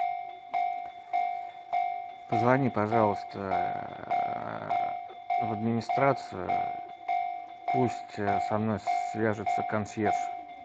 позвони пожалуйста в администрацию пусть со мной свяжется консьерж